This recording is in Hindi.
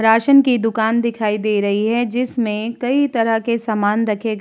रासन की दुकान दिखाई दे रही है जिसमें कई तरह के सामान रखे ग --